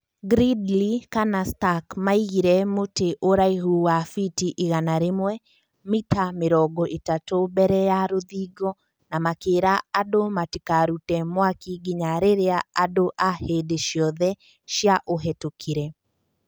Gridley kana Stark maaigire mũtĩ ũraihu wa fiti igana rĩmwe[ mita mirongo itatũ ]mbere ya rũthingo na makĩra andũ matikarute mwaki nginya rĩrĩa andũ a hĩndĩ ciothe cia ciaũhĩtũkire.